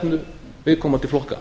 landráðastefnu viðkomandi flokka